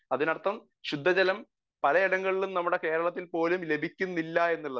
speaker 1 അപ്പം ശുദ്ധജലം പലയിടങ്ങളിലും നമ്മളുടെ കേരളത്തിൽപ്പോലും ലഭിക്കുന്നില്ല എന്നുള്ളതാണ്